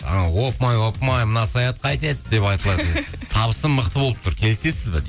анау опмай опмай мынау саят қайтеді деп айтылатын табысы мықты болып тұр келісесіз бе дейді